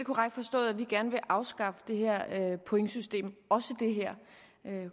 korrekt forstået at vi gerne vil afskaffe det her pointsystem også det her